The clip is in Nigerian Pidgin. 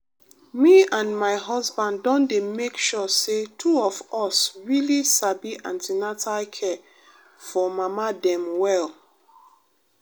me and my husband don dey make sure say two of us really sabi an ten atal care for mama dem well.